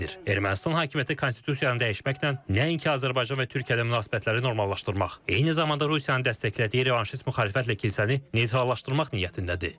Ermənistan hakimiyyəti konstitusiyanı dəyişməklə nəinki Azərbaycan və Türkiyə ilə münasibətləri normallaşdırmaq, eyni zamanda Rusiyanın dəstəklədiyi revanşist müxalifətlə kilsəni neytrallaşdırmaq niyyətindədir.